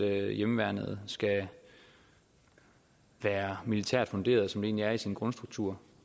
at hjemmeværnet skal være militært funderet som det egentlig er i sin grundstruktur